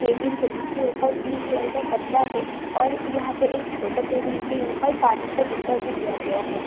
Table है जिस के ऊपर पिंक कलर का कपड़ा है और यहां पे एक छोटा टेबल के ऊपर एक पानी का डब्बा भी दिया गया है ।